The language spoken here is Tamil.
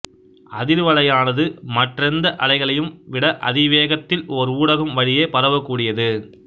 அதிர்வலையானது மற்றெந்த அலைகளையும் விட அதிவேகத்தில் ஓர் ஊடகம் வழியே பரவக்கூடியது